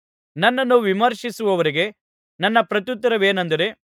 ನನ್ನನ್ನು ವಿಮರ್ಶಿಸುವವರಿಗೆ ನನ್ನ ಪ್ರತ್ಯುತ್ತರವೇನೆಂದರೆ